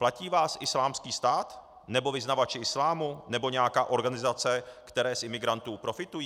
Platí vás Islámský stát nebo vyznavači islámu nebo nějaká organizace, které z imigrantů profitují?